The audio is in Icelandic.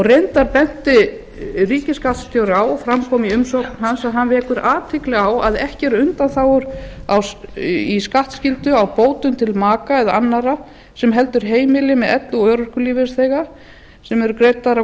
reyndar benti ríkisskattstjóra á og fram kom í umsögn hans að hann vekur athygli á að ekki eru undanþágur í skattskyldu á bótum til maka eða annarra sem heldur heimili með elli og örorkulífeyrisþega sem eru greiddar á